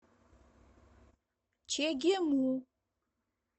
чегему